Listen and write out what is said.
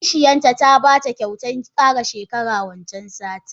Kishiyanta ta bata kyautan kara shekara wancan satin.